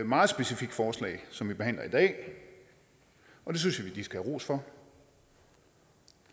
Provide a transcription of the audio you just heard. meget specifikt forslag som vi behandler i dag og det synes jeg de skal have ros for